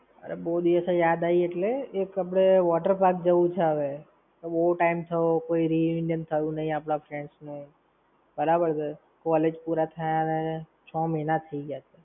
અરે બવ દિવસે યાદ આવી એટલે, એક આપણે water park જવું છે હવે. બવ time થયો કોઈ re-union થયું નઇ આપણા friends નું. બરાબર છે. College પુરા થયા ને છ મહિના થઇ ગયા